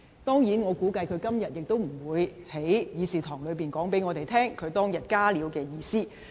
當然，我估計他今天也不會在議事堂告訴我們，他當日"加料"的意思。